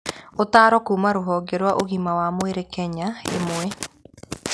Ũtaaro kuuma kũrĩ rũhonge rwa ũgima wa mwĩrĩ Kenya 1.